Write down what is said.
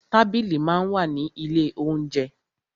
Tábìlì máa ń wà ní ilé óunjẹ.